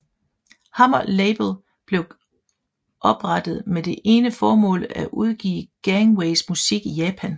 Hammer Label blev oprettet med det ene formål at udgive Gangways musik i Japan